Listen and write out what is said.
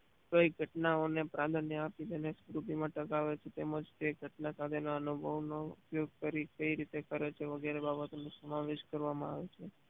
કઈ ઘટનાઓ ને પ્રધાન્ય આપી તેને સ્મૃતિ માં ટકાવે છે તેમજ તે ઘટના સાથે ના અનુભવ નો ઉપયોગ કરી કઈ રીતે કરે છે વગરે બાબત નો સમાવેશ કરવા માં આવે છે